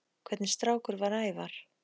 Hvernig strákur var Ævar?